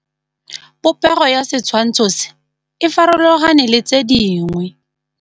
Popêgo ya setshwantshô se, e farologane le tse dingwe.